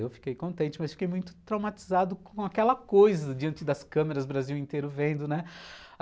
Eu fiquei contente, mas fiquei muito traumatizado com aquela coisa diante das câmeras, o Brasil inteiro vendo, né?